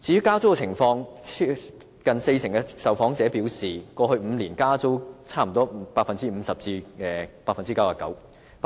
至於加租的情況，近四成受訪者表示，過去5年加租差不多 50% 至 99%， 有 7% 受